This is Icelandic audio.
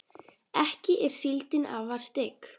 ekki er síldin afar stygg